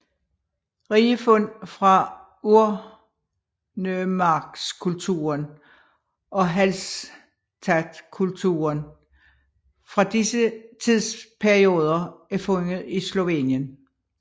Rige fund fra urnemarkskulturen og Hallstattkulturen fra disse tidsperioder er fundet i Slovenien